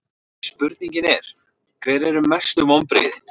Spurningin er: Hver eru mestu vonbrigðin?